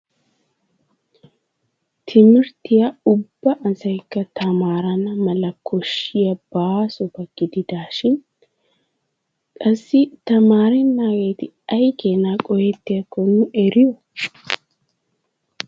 Timirttiya ubba asaykka tamaarana mala koshshiya baasoba gididaashin qassi tamaarennaageeti ay keenaa qohettiyakko nu eriyo?